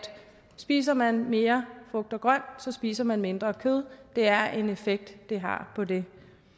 spiser man mere frugt og grønt spiser man mindre kød det er en effekt det har på det